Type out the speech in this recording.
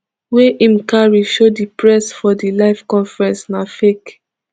wey im carry show di press for di live press conference na fake